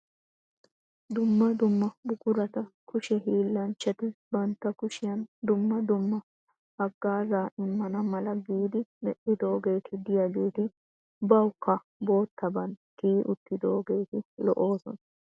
Dumma dumma buqurata kushe hiillanchchati bantta kushiyan dumma dumma haggaazaa immanna mala giidi medhoogeeti diyageeti bawukka boottaban tiyi uttidoogeeti lo"oosonna.